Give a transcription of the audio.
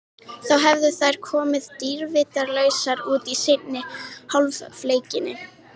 Þá hefðu þær komið dýrvitlausar út í seinni hálfleikinn.